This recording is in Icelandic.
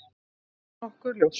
Það er nokkuð ljóst.